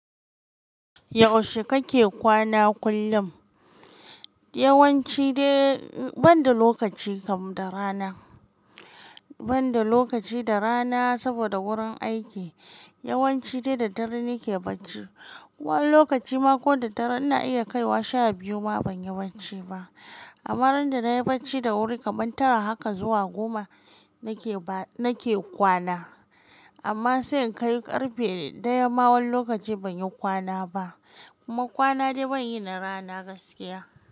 Yaushe kake kwana kullum? Yawanci dai banda lokaci kam da rana, banda lokaci da rana saboda wurin aiki yawanci dai da dare nake bacci. Wani lokaci ma ko da dare ina iya kaiwa sha biyu ma ban yi bacci ba. Amma ran da nayi bacci da wuri kamar tara haka zuwa goma nake ba nake kwana. Amma sai in kai karfe daya ma wani lokaci ban yi kwana ba. Kuma kwana dai ban yi na rana gaskiya.